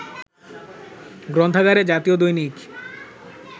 গ্রন্থাগারে জাতীয় দৈনিক